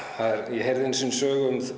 ég heyrði einu sinni sögu um